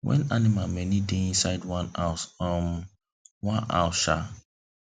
when animal many dey inside one house um one house um